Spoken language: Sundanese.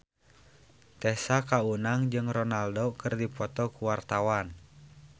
Tessa Kaunang jeung Ronaldo keur dipoto ku wartawan